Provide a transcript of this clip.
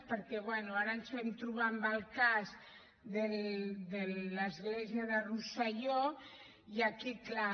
perquè bé ara ens vam trobar amb el cas de l’església de rosselló i aquí clar